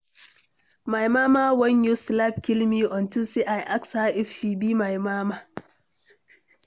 My mama wan use slap kill me unto say I ask her if she be my mama.